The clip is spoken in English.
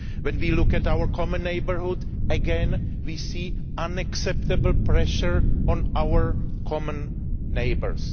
When we look at our common neighbourhood, again we see unacceptable pressure on our common neighbours.